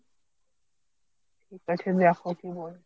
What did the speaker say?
ঠিক আছে দেখো কী বলে।